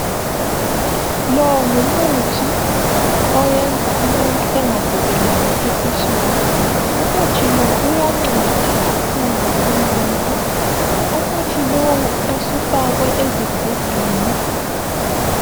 Lo ngumuthi oyenza umuntu engagunelani esiswini. Umuthi lo uyanceda kakhulu umuntu. Umuthi lowu usifakwe ezigubhini